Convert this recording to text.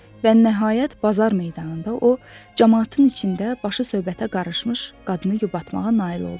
Və nəhayət, bazar meydanında o camaatın içində başı söhbətə qarışmış qadını yubatmağa nail oldu.